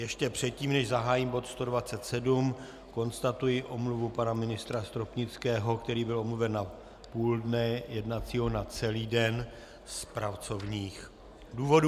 Ještě předtím, než zahájím bod 127, konstatuji omluvu pana ministra Stropnického, který byl omluven na půl dne jednacího, na celý den z pracovních důvodů.